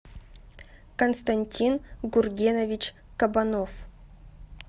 константин гургенович кабанов